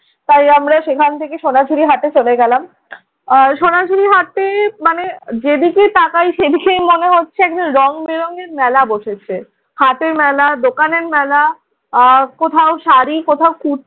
তাই আমরা সেখান থেকে সোনাঝুড়ির হাটে চলে গেলাম। সোনাঝুড়ির হাটে মানে যেদিকেই তাকাই সেদিকেই মনে হচ্ছে রংবেরঙের মেলা বসেছে। হাটের মেলা, দোকানের মেলা, আহ কোথাও শাড়ি, কোথাও কুচ,